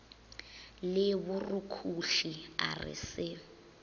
le borukhuhli a re se